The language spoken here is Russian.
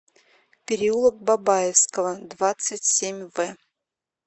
переулок бабаевского двадцать семь в